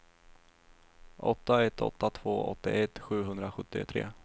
åtta ett åtta två åttioett sjuhundrasjuttiotre